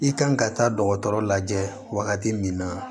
I kan ka taa dɔgɔtɔrɔ lajɛ wagati min na